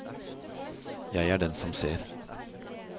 Jeg er den som ser!